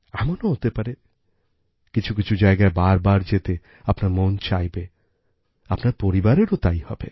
এমনও হতে পারে কিছু কিছু জায়গায় বারবার যেতে আপনার মন চাইবে আপনার পরিবারেরও তাই হবে